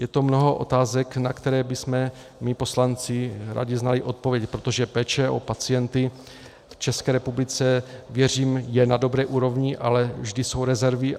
Je to mnoho otázek, na které bychom my poslanci rádi znali odpovědi, protože péče o pacienty v České republice, věřím, je na dobré úrovni, ale vždy jsou rezervy.